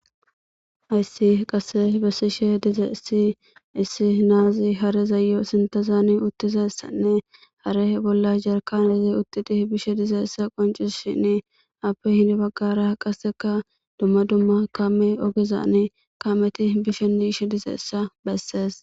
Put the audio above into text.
Haysi qase besishe dizaysi issi nazi harezayo sinthazani uttizaysanne hareza bolla yarkanezi uttidi bishe dizaysa qoncisishini ape heni bagara qaseka duma duma kaamey ogezani kamey bishenne yishe dizaysa besses.